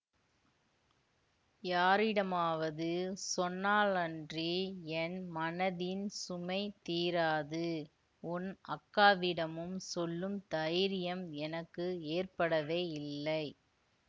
யாரிடமாவது சொன்னாலன்றி என் மனதின் சுமை தீராது உன் அக்காவிடமும் சொல்லும் தைரியம் எனக்கு ஏற்படவே இல்லை